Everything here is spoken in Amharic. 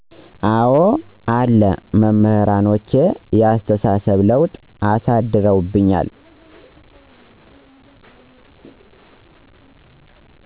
አዎ አሉ። መምህራኖቼ የአስተሳሰብ ለውጥ አሳድሮብኝል።